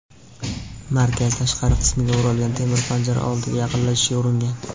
markaz tashqari qismiga o‘ralgan temir panjara oldiga yaqinlashishga uringan.